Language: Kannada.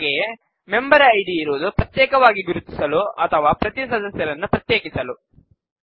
ಹಾಗೆಯೇ ಮೆಂಬರ್ ಐಡಿ ಇರುವುದು ಪ್ರತ್ಯೇಕವಾಗಿ ಗುರುತಿಸಲು ಅಥವಾ ಪ್ರತೀ ಸದಸ್ಯರನ್ನು ಪ್ರತ್ಯೇಕಿಸಲು